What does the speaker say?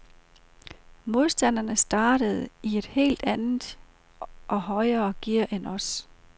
Modstanderne startede i et helt andet og højere gear end os.